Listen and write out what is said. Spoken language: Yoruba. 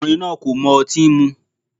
Ọkùnrin náà kò mọ otín mú.